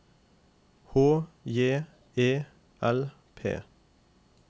H J E L P